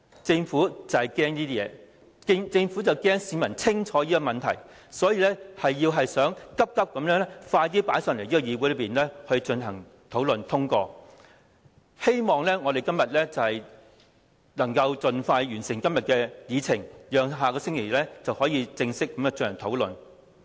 政府懼怕上述情況發生，擔心市民認清當中問題，故此便急忙把議案提交到立法會討論及表決，希望議會盡快完成今天的議程，以便在下星期正式開始討論。